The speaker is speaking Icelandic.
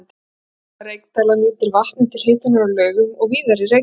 Hitaveita Reykdæla nýtir vatnið til hitunar á Laugum og víðar í Reykjadal.